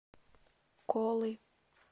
колы